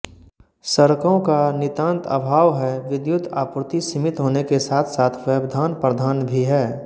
सड़कों का नितान्त अभाव है विद्युत आपूर्ति सीमित होने के साथसाथ व्यवधानप्रधान भी है